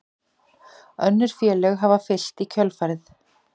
Önnur félög hafa fylgt í kjölfarið